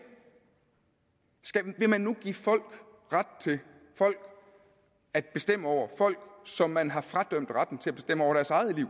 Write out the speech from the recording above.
vil man nu give folk ret til at bestemme over folk som man har fradømt retten til